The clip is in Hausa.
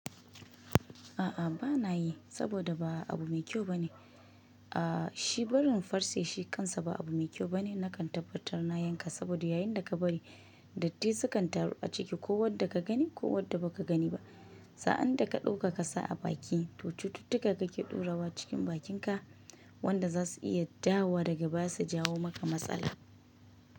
A'a bana yi, saboda ba abu mai kyau bane. A shi barin farce shi kansa ba abu mai kyau bane. Nakan tabbatar na yanka saboda yayin da ka bari, datti sukan taru a ciki ko wadda ka gani ko wadda ba ka gani ba. Sa'an da ka ɗauka ka sa a bakin, to cututtuka kake ɗora wa cikin bakinka wanda za su iya dawowa daga baya su jawo maka matsala.